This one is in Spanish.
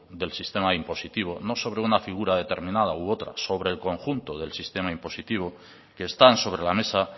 del sistema impositivo no sobre una figura determinada u otras sobre el conjunto del sistema impositivo que están sobre la mesa